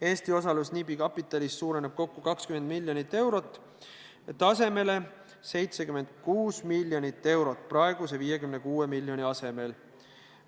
Eesti osalus NIB-i kapitalis suureneb kokku 20 miljonit eurot, tasemele 76 miljonit eurot praeguse 56 miljoni asemel.